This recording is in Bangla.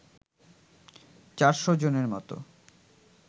চারশো জনের মতো